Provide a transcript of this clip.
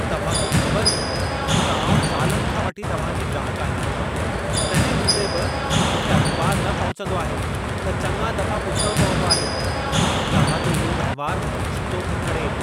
तव्हां खे ख़बर हूंदी त आउं सालनि खां वठी तव्हां जी ग्राहकु आहियां। तंहिं हूंदे बि मूंखे अख़बार न पहुचंदो आहे त चङा दफ़ा पुछिणो पवंदो आहे। तव्हां जो इहो वहिंवार मूंखे छितो थो करे।